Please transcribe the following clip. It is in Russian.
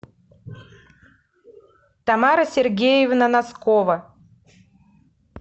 тамара сергеевна носкова